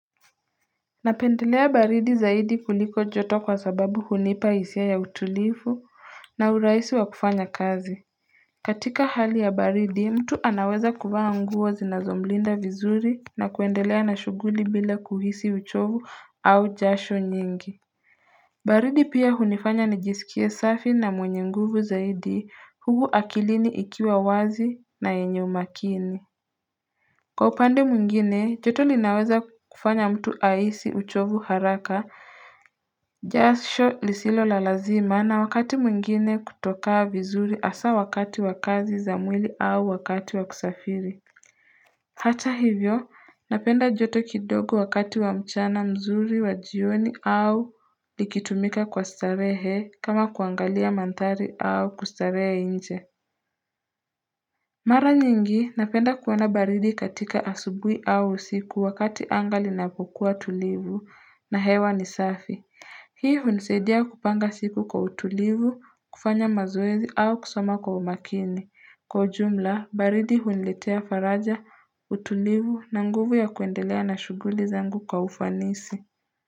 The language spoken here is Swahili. Napendelea baridi zaidi kuliko joto kwa sababu hunipa hisia ya utulifu na uraisi wa kufanya kazi katika hali ya baridi mtu anaweza kuvaa nguo zinazomlinda vizuri na kuendelea na shughuli bila kuhisi uchovu au jasho nyingi baridi pia hunifanya nijisikie safi na mwenye nguvu zaidi hugu akilini ikiwa wazi na yenye makini. Kwa upande mwengine, joto linaweza kufanya mtu ahisi uchovu haraka, jasho lisilo la lazima na wakati mwengine kutoka vizuri asa wakati wa kazi za mwili au wakati wa kusafiri. Hata hivyo, napenda joto kidogo wakati wa mchana mzuri wa jioni au likitumika kwa starehe kama kuangalia manthari au kustarehe inje. Mara nyingi napenda kuona baridi katika asubui au usiku wakati anga linapokuwa tulivu na hewa ni safi. Hii hunisaidia kupanga siku kwa utulivu, kufanya mazoezi au kusoma kwa umakini. Kwa ujumla, baridi huniletea faraja, utulivu na nguvu ya kuendelea na shughuli zangu kwa ufanisi.